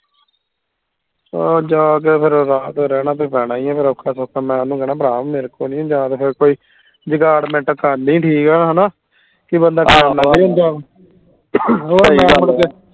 ਅਹ ਜਾਕੇ ਫੇਰ ਰਾਤ ਰਹਿਣਾ ਤਾਂ ਪੈਣਾ ਹੀ ਆ ਫੇਰ ਔਖਾ ਸੌਖਾ ਮੈਂ ਓਹਨੂੰ ਕਹਿਣਾ ਭਰਾ ਮੇਰੇ ਕੋਲੋਂ ਨੀ ਹੁੰਦਾ ਤੇ ਫੇਰ ਕੋਈ ਜਗਾਡਮਿੰਟ ਕਰ ਲਈ ਠੀਕ ਆ ਹਣਾ ਕਿ ਬੰਦਾ